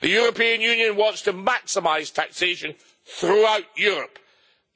The European Union wants to maximise taxation throughout Europe